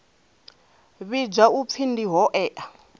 vhidzwa u pfi ndi hoea